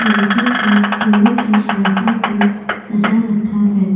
तरीके से फूलों की सहायता से सजा रखा है।